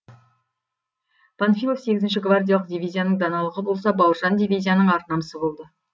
панфилов сегізінші гвардиялық дивизияның даналығы болса бауыржан дивизияның ар намысы болды